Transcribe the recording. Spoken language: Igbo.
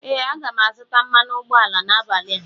ee, aga m azụta mmanụ ụgbọala n 'abalị a